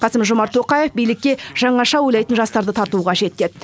қасым жомарт тоқаев билікке жаңаша ойлайтын жастарды тарту қажет деді